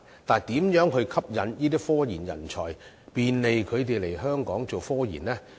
但是，如何吸引這些科研人才，便利他們來香港做科研呢？